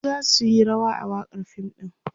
su zasu Yi rawa a wakan fim ɗin